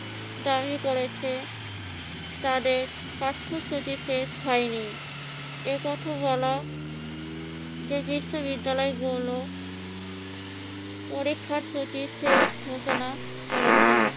দাবি করেছে তাদের পাঠ্যসূচি শেষ হয়নি। এ কথা বলা যে বিশ্ববিদ্যালয়গুলো পরীক্ষার সূচি শেষ ঘোষণা করেছে।